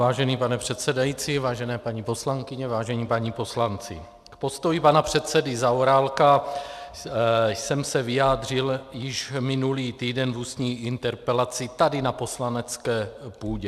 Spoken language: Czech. Vážený pane předsedající, vážené paní poslankyně, vážení páni poslanci, k postoji pana předsedy Zaorálka jsem se vyjádřil již minulý týden v ústní interpelaci tady na poslanecké půdě.